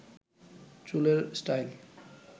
চুলের স্টাইল